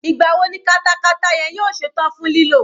Ìgbà wo ni katakata yẹn yóò ṣe tán fún lílò?